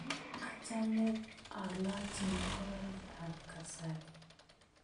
Achame alochi ngoroik ap kasari